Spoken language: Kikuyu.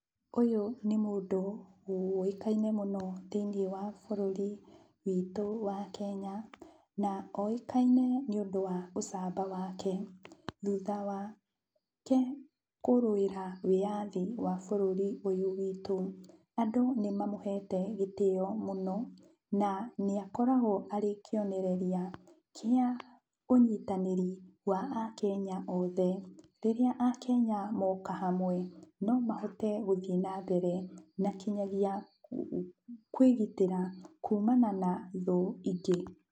Ũyũ nĩ mũndũ ũĩkaine mũno thĩiniĩ wa bũrũri witũ wa Kenya, na oĩkaine nĩũndũ wa ũcamba wake, thutha wake kũrũĩra wĩyathi wa bũrũri ũyũ witũ. Andũ nĩmamũhete gĩtĩo mũno na nĩakoragwo arĩ kĩonereria kĩa ũnyitanĩri wa Akenya othe. Rĩrĩa Akenya moka hamwe, no mahote gũthiĩ na mbere, na kinyagia kwĩgitĩra kumana na thũ ingĩ.